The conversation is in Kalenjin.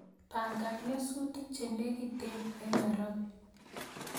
Pangan nyasutik chenegiten nairobi